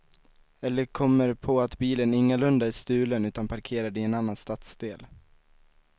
Eller kommer på att bilen ingalunda är stulen utan parkerad i en annan stadsdel.